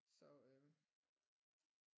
Så øh